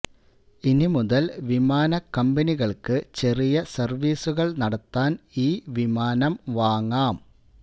ഇനിമുതൽ വിമാന കമ്പനികൾക്ക് ചെറിയ സർവീസുകൾ നടത്താൻ ഈ വിമാനം വാങ്ങാം